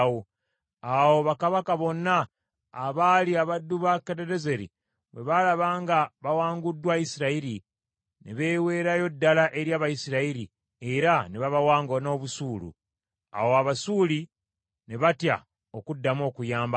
Awo bakabaka bonna abaali abaddu ba Kadadezeri bwe baalaba nga bawanguddwa Isirayiri, ne beeweerayo ddala eri Abayisirayiri, era ne babawanga n’obusuulu. Awo Abasuuli ne batya okuddamu okuyamba Abamoni.